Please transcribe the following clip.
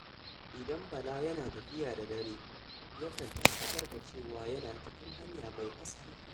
Idan Bala yana tafiya da dare, yakan tabbatar da cewa yana cikin hanya mai haske.